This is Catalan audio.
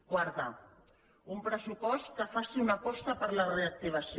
quarta un pressupost que faci una aposta per la reactivació